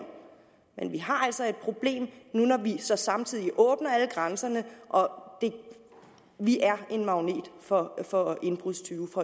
men vi har altså et problem når vi så samtidig åbner alle grænserne vi er en magnet for for indbrudstyve